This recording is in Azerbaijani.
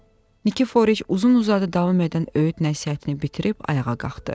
Nikiforiç uzun-uzadı davam edən öyüd nəsihətini bitirib ayağa qalxdı.